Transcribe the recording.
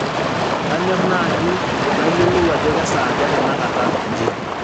kanyor naaji nayiolou ajo kesaaja tenakata nji